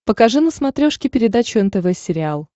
покажи на смотрешке передачу нтв сериал